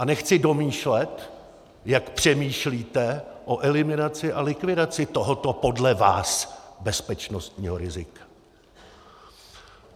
A nechci domýšlet, jak přemýšlíte o eliminaci a likvidaci tohoto podle vás bezpečnostního rizika!